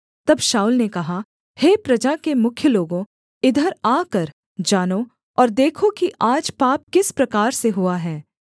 तब शाऊल ने कहा हे प्रजा के मुख्य लोगों इधर आकर जानो और देखो कि आज पाप किस प्रकार से हुआ है